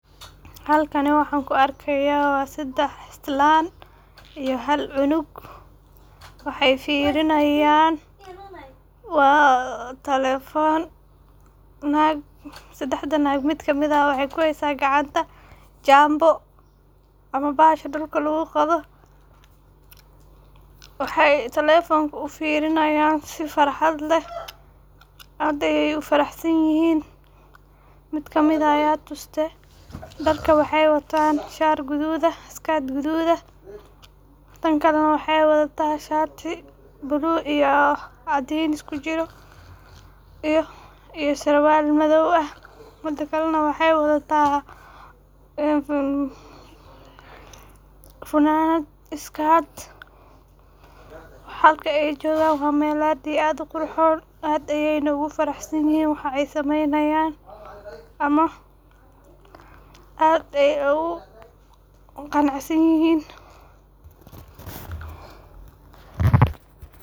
Halkani waxan kuu arkaya waa sedax islan iyo hal cunug, waxay firinayan waa telephone, sedaxda nag mid kamid ah waxay kuhaysa gacanta Nyambo ama bahasha dulka lagu qodo, waxay telefonka ufirinayan sii farxad leeh, aad ayay ufaraxsanyihin mid kamid ah aya tuste darka waxay watan shar gadud eh iyo skart gadud eh, tankale nah waxay wadata shati blue iyo caadin iskujiro, iyo sarwal madow ah midi kale nah waxay wadata funanad skart, halka aay jogaan waa meel aad iyo aad uqurxon, aad ayaynah ufaraxsanyihin, waxay sameynayan ama aad ayay ogu qanacsanyihin.